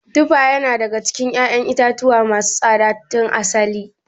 Tufa yana daga cikin ƴaƴan itatuwa masu tsada tun asali.